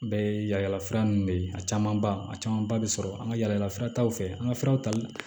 Bɛɛ ye yaala yaala fura nunnu de ye a camanba a camanba bɛ sɔrɔ an ka yala furataw fɛ an ka fɛnw tali